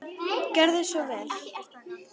Gerðu svo vel!